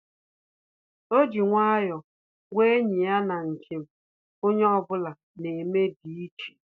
Ọ́ jì nwayọ́ọ̀ gwàá ényì ya na njem onye ọ bụla nà-émé dị̀ iche.